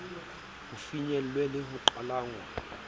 ho finyellwe le ho qhalanngwa